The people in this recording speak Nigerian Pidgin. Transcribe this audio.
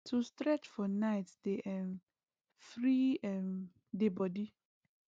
to stretch for night dey um free um the body